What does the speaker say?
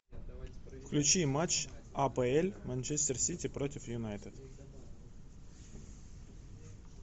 включи матч апл манчестер сити против юнайтед